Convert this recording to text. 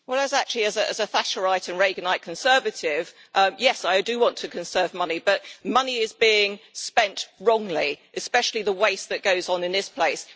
Well actually, as a Thatcherite and Reaganite conservative, yes, I do want to conserve money but money is being spent, wrongly, especially the waste that goes on in this place.